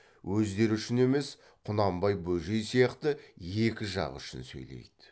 өздері үшін емес құнанбай бөжей сияқты екі жақ үшін сөйлейді